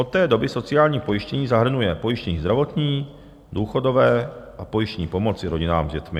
Od té doby sociální pojištění zahrnuje pojištění zdravotní, důchodové a pojištění pomoci rodinám s dětmi.